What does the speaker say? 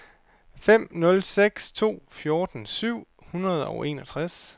fem nul seks to fjorten syv hundrede og enogtres